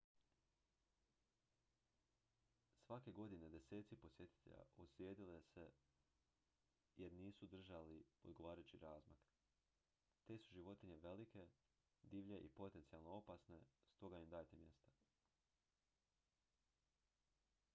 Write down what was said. svake godine deseci posjetitelja ozlijede se jer nisu držali odgovarajući razmak te su životinje velike divlje i potencijalno opasne stoga im dajte mjesta